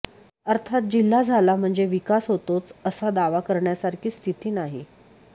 अर्थात जिल्हा झाला म्हणजे विकास होतोच असा दावा कऱण्यासारखी स्थिती नाही